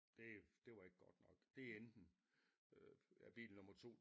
Det det var ikke godt nok det enten øh ja bil nummer 2